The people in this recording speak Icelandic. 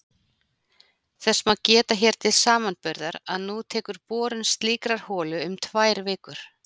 Þess má geta hér til samanburðar að nú tekur borun slíkrar holu um tvær vikur!